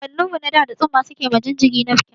Kakannin mu na da, da tsumma suke ma jinjiri nafkin.